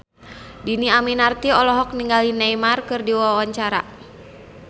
Dhini Aminarti olohok ningali Neymar keur diwawancara